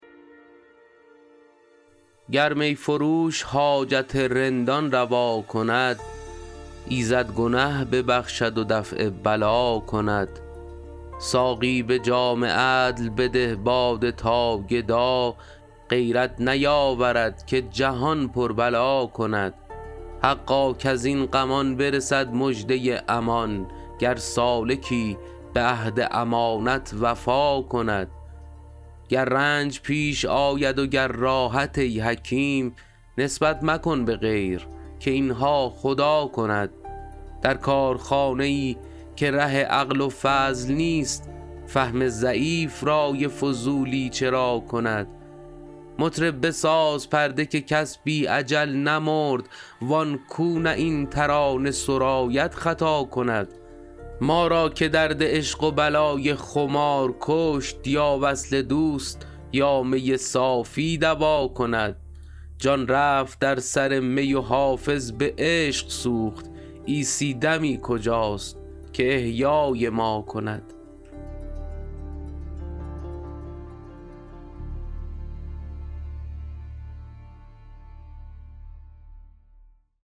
گر می فروش حاجت رندان روا کند ایزد گنه ببخشد و دفع بلا کند ساقی به جام عدل بده باده تا گدا غیرت نیاورد که جهان پر بلا کند حقا کز این غمان برسد مژده امان گر سالکی به عهد امانت وفا کند گر رنج پیش آید و گر راحت ای حکیم نسبت مکن به غیر که این ها خدا کند در کارخانه ای که ره عقل و فضل نیست فهم ضعیف رای فضولی چرا کند مطرب بساز پرده که کس بی اجل نمرد وان کو نه این ترانه سراید خطا کند ما را که درد عشق و بلای خمار کشت یا وصل دوست یا می صافی دوا کند جان رفت در سر می و حافظ به عشق سوخت عیسی دمی کجاست که احیای ما کند